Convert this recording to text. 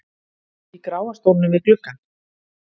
í gráa stólnum við gluggann.